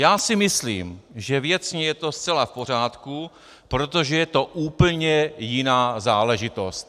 Já si myslím, že věcně je to zcela v pořádku, protože je to úplně jiná záležitost.